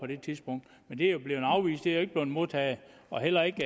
det tidspunkt men det er jo blevet afvist det er jo ikke blevet modtaget og heller ikke